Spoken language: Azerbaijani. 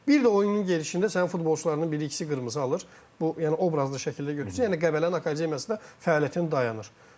Bir də oyunun gedişində sənin futbolçularının biri-ikisi qırmızı alır, bu yəni obrazlı şəkildə götürsə, yəni Qəbələnin akademiyasının fəaliyyəti dayanır.